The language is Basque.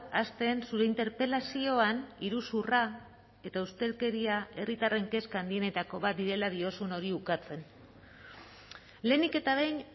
hasten zure interpelazioan iruzurra eta ustelkeria herritarren kezka handienetako bat direla diozun hori ukatzen lehenik eta behin